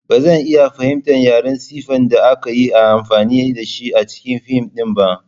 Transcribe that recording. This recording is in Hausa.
Ba zan iya fahimtar yaren Sifen da aka yi amfani da shi a cikin fim ɗin ba.